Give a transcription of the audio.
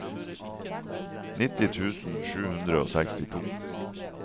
nitti tusen sju hundre og sekstito